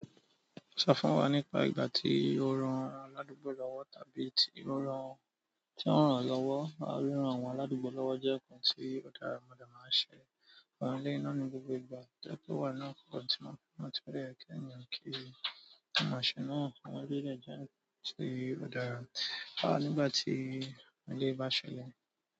Sọ fún wa nípa ìgbà tí o rán àwọn aládùúgbò lọ́wọ́ tàbí tí ó rán tí wọ́n rán lọ́wọ́. Rírán àwọn aládùúgbò lọ́wọ́ jẹ́ nǹkan tí o dára mo dẹ máa ń ṣe. Àwọn ilé iná ni gbogbo ìgbà dẹ́kọ̀ wà náà máa ti máa fún ọmọdé rẹ kí ènìyàn kí i. Ṣé o mọ ṣe náà? Àwọn bílẹ̀ jẹ nǹkan tí o darà, á nígbà tí ọmọdé bá ṣẹlẹ̀